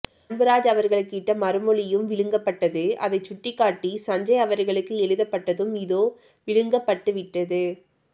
அன்புராஜ் அவர்களுக்கு இட்ட மறுமொழியும் விழுங்கப்பட்டது அதைச்சுட்டிக்காட்டி சஞ்ஞை அவர்களுக்கு எழுதப்பட்டதும் இதோ விழுங்கப்பட்டுவிட்டது